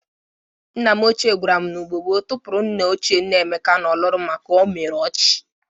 Nna m ochie gwara m na Igbo gboo tukpuru nna ochie nna Emeka n'olulu maka o mere ọchụ.